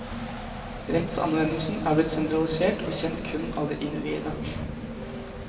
Rettsanvendelsen er blitt sentralisert og kjent kun av de innviede.